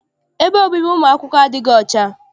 Ebe obibi ụmụ akwụkwọ adịghị ọcha.